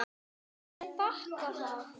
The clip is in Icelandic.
Þær þakka það.